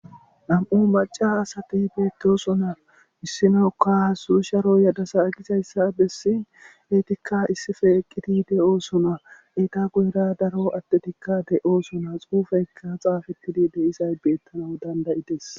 Nam'u maca asati beetosona issinoka suusharo yadasa aqizayssa bessin eetikka issife eqqiti de'oosona eeta guyera daro attetikka de'osona xuufeykka xaafettidi deizay beettana dandayites.